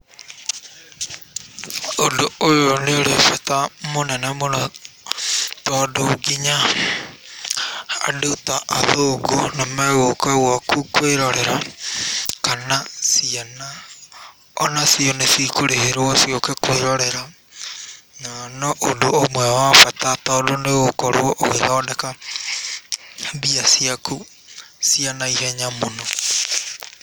Ũndũ ũyũ nĩ ũrĩ bata mũnene mũno tondũ nginya andũ ta athũngũ nĩ megũka gwaku kwĩrorera kana ciana o nacio nĩcikũrĩhĩrwo ciũke kwĩrorera na no ũndũ ũmwe wa bata tondũ nĩ ũgũkorwo ũgĩthondeka mbia ciaku cia naihenya mũno.